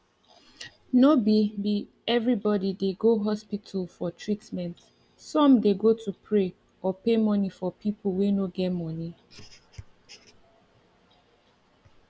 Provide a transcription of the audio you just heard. no be be everybody dey go hospital for treatment some dey go to pray or pay money for pipu wey no get money